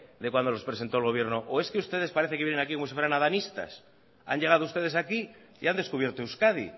de cuando los presentó el gobierno o es que ustedes parece que vienen aquí como si fueran adanistas han llegado ustedes aquí y han descubierto euskadi